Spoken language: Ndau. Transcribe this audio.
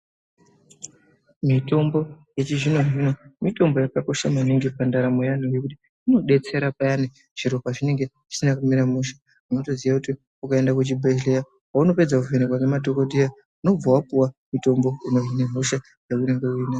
Mitombo yechizvino mitombo yakosha maningi pandaramo yavantu nekuti inodetsera paya zviro pazvinemge zvisina kumira mushe unotoziya kuti ukaenda kuzvibhelera paunopedza kuvhenekwa ngemadhokodheya unobva wapiwa mitombo inohina hosha yaunenge unayo .